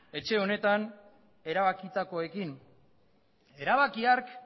etxe honetan erabakitakoekin erabaki hark